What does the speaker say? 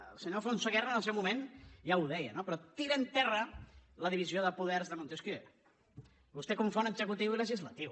el senyor alfonso guerra en el seu moment ja ho deia no però tira en terra la divisió de poders de montesquieu vostè confon executiu i legislatiu